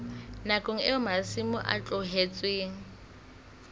nakong eo masimo a tlohetsweng